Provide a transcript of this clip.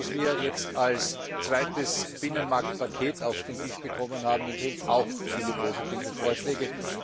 Das, was wir jetzt als zweites Binnenmarktpaket auf den Tisch bekommen haben, enthält auch viele positive Vorschläge.